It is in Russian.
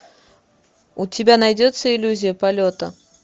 у тебя найдется иллюзия полета